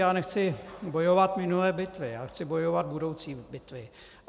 Já nechci bojovat minulé bitvy, já chci bojovat budoucí bitvy.